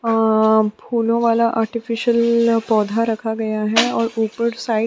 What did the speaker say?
अ फूलों वाला आर्टिफिशियल पौधा रखा गया है और ऊपर साइड --